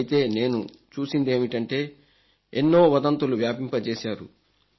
అయితే నేను చూసిందేమిటంటే ఎన్నో వదంతులు వ్యాపింపజేశారు